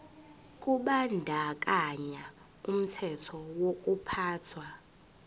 kubandakanya umthetho wokuphathwa